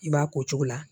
I b'a ko cogo la